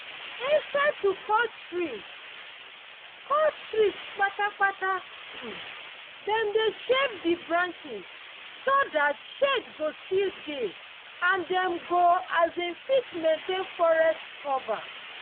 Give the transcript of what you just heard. instead to cut trees cut trees patapata um dem dey shave the branches so that shade go still dey and dem go um fit maintain forest cover